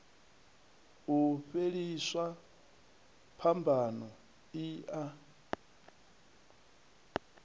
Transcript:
u fhelisa phambano i a